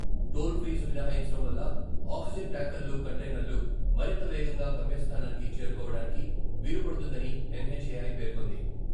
Toll fee మినహాయించడం వల్ల oxygen ట్యాంకర్లు, కంటెయినర్లు మరింత వేగంగా గమ్యస్థానానికి చేరుకోవడానికి వీలుపడుతుందని ఎన్హెచ్ఎఐ పేర్కొంది.